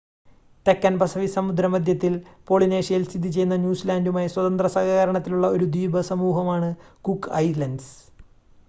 തെക്കൻ പസഫിക് സമുദ്ര മധ്യത്തിൽ പോളിനേഷ്യയിൽ സ്ഥിതി ചെയ്യുന്ന ന്യൂസിലാൻഡുമായി സ്വതന്ത്ര സഹകരണത്തിലുള്ള ഒരു ദ്വീപ രാജ്യമാണ് കുക്ക് ഐലൻഡ്സ്